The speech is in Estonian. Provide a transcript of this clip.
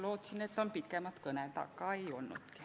Lootsin, et kõned on pikemad, aga ei olnud.